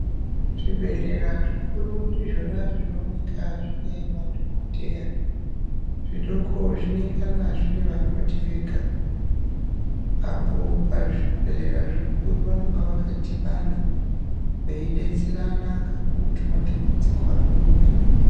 Zvibhedhlera zvikuru ndizvona zvinooneka zvine madhokodheya zvidoko zvinengana zvinevakoti vega apo pazvibhedhlera zvikuru vanonga vakadhibana veyidetserana kakurutu matambudziko anouya.